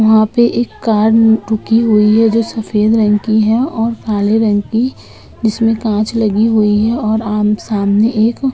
वहाँ पे एक कार रुकी हुई है जो सफ़ेद रंग की और काले रंग की है। जिसमें कांच लगी हुई है और आम सामने एक --